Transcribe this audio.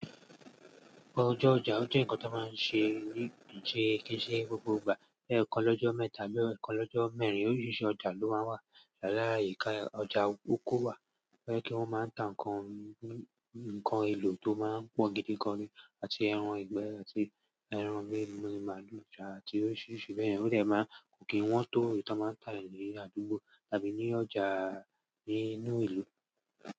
Ọjọ́ ọjà ó jẹ́ ǹkan tó máa ń ṣe ní, ṣe ki se gbogbo ìgbà. Ẹ̀ẹ̀kan lọ́jọ́ mẹ́ta ló, ẹ̀ẹ̀kan lọ́jọ́ mẹ́rin oríṣiríṣi ọjà ló máa ń wà. Ṣàlàyé ká, ọjà oko wà, kí wọ́n máa ń ta ǹkan, ǹkan elo tó máa ń pọ̀ gidi gan ni àti ẹran ìgbẹ́ àti ẹran méèlèè, màlúù àti oríṣiríṣi bẹ́ẹ̀ bẹ́ẹ̀. Ó dè máa kò kí wọ́n tó eyi ti won máa tà ní àdúgbò tàbí ní ọjà nínú ìlú.